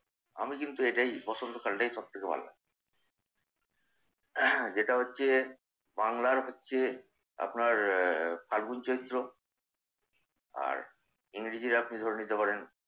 আমি কিন্তু এটাই পছন্দ করি। এটাই সবথেকে ভালো লাগে। যেটা হচ্ছে বাংলার হচ্ছে আপনার ফাল্গুন-চৈত্র আর ইংরেজিতে আপনি ধরে নিতে পারেন